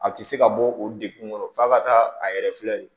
A tɛ se ka bɔ o degun kɔnɔ f'a ka taa a yɛrɛ filɛ nin ye